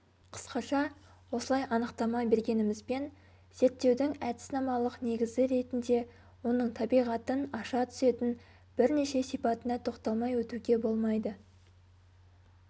қысқаша осылай анықтама бергенімізбен зерттеудің әдіснамалық негізі ретінде оның табиғатын аша түсетін бірнеше сипатына тоқталмай өтуге болмайды